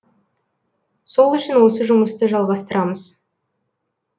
сол үшін осы жұмысты жалғастырамыз